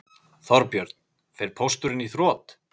Þorbjörn: Fer Pósturinn í þrot?